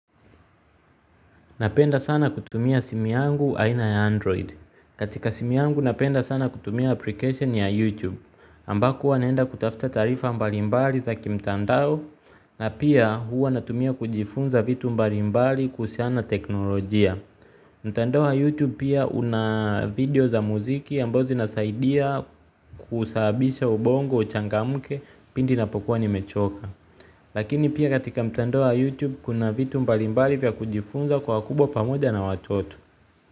Napenda sana kutumia simu yangu aina ya android. Katika simu yangu napenda sana kutumia application ya youtube ambako uwa naenda kutafta taarifa mbalimbali za kimtandao. Na pia huwa natumia kujifunza vitu mbalimbali kuhusiana na teknolojia. Mtandao wa youtube pia una video za muziki ambazo zinasaidia kusababisha ubongo uchangamke pindi ninapokuwa nimechoka. Lakini pia katika mtandao wa YouTube kuna vitu mbalimbali vya kujifunza kwa wakubwa pamoja na watoto.